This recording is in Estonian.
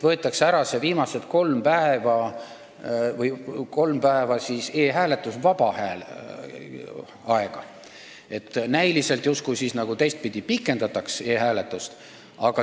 Võetakse ära need viimased kolm e-hääletusvaba päeva, näiliselt justkui teistpidi pikendatakse e-hääletust.